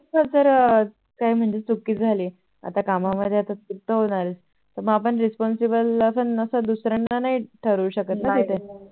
र जर काही चुकी झाली आता काम मध्ये चुकतर होणारच तर मग आपण Responsible आपण असं दुसर्यांना नाही ठरवू शकत ना तिथे नाही नाही